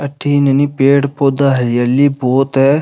अठीन हे नी पेड़ पौधा हरियाली बहोत है।